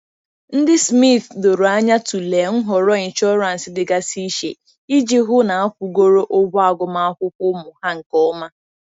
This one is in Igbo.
Ndị Smith doro anya tụlee nhọrọ inshọransị dịgasị iche iji hụ na akwụgoro ụgwọ agụmakwụkwọ ụmụ ha nke ọma.